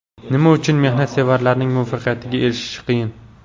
Nima uchun mehnatsevarlarning muvaffaqiyatga erishishi qiyin?.